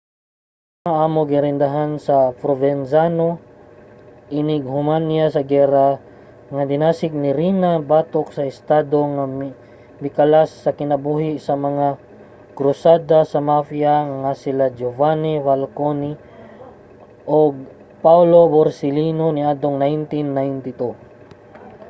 kining mga amo girendahan ni provenzano inighuman niya sa giyera nga dinasig ni riina batok sa estado nga mikalas sa kinabuhi sa mga krusada sa mafia nga sila giovanni falcone ug paolo borsellino niadtong 1992.